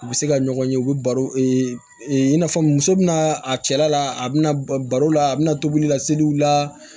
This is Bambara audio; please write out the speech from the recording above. U bɛ se ka ɲɔgɔn ye u bɛ baro i n'a fɔ muso bɛna a cɛla la a bɛna baro la a bɛna tobili la seliw la